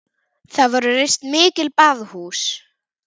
Þar voru reist mikil baðhús.